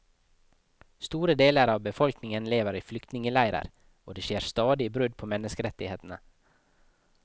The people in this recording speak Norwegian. Store deler av befolkningen lever i flyktningeleirer, og det skjer stadige brudd på menneskeretighetene.